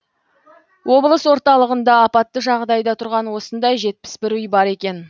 облыс орталығында апатты жағдайда тұрған осындай жетпіс бір үй бар екен